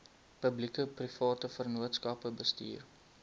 publiekeprivate vennootskappe bestuur